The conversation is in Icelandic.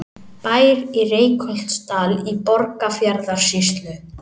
Bær í Reykholtsdal í Borgarfjarðarsýslu.